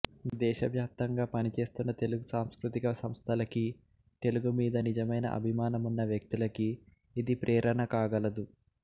దేశవ్యాప్తంగా పనిచేస్తున్న తెలుగు సాంస్కృతిక సంస్థలకీ తెలుగు మీద నిజమయిన అభిమానం ఉన్న వ్యక్తులకీ ఇది ప్రేరణ కాగలదు